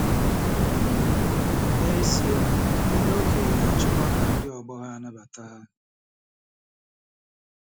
um N'ezie, ndị okenye na-achọkwa ka ndị ọgbọ ha nabata ha.